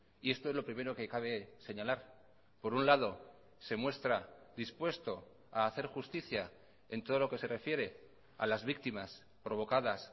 y esto es lo primero que cabe señalar por un lado se muestra dispuesto a hacer justicia en todo lo que se refiere a las víctimas provocadas